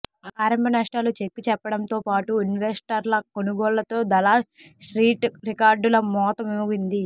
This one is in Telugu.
ఆరంభ నష్టాలు చెక్ చెప్పడంతోపాటు ఇన్వెస్టర్ల కొనుగోళ్లతో దలాల్ స్ట్రీట్ రికార్డుల మోత మోగింది